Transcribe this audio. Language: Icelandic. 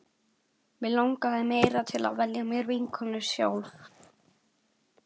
Mig langaði meira til að velja mér vinkonur sjálf.